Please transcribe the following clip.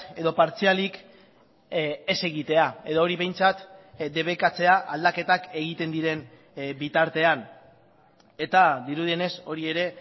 edo partzialik ez egitea edo hori behintzat debekatzea aldaketak egiten diren bitartean eta dirudienez hori ere